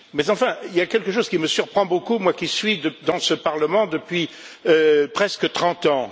Mais il y a quelque chose qui me surprend beaucoup, moi qui suis dans ce Parlement depuis presque trente ans.